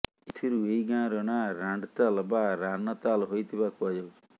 ଏଥିରୁ ଏହି ଗାଁର ନାଁ ରାଣ୍ଡତାଲ ବା ରାନତାଲ େହାଇଥିବା କୁହାଯାଉଛି